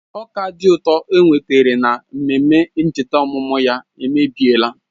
Ọka dị ụtọ enwetara na mmemme ncheta ọmụmụ emebiela